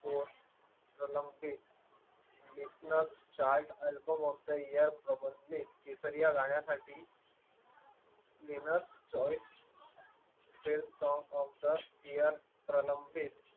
business chart album of the year प्रबंधित केसरीया या गाण्यासाठी linux choice film song of the year प्रलंबित